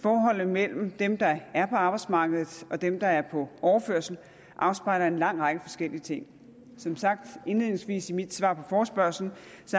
forholdet mellem dem der er på arbejdsmarkedet og dem der er på overførsel afspejler en lang række forskellige ting som sagt indledningsvis i mit svar på forespørgslen